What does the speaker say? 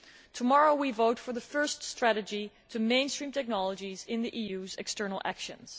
Tomorrow, we vote for the first strategy to mainstream technologies into the EU's external actions.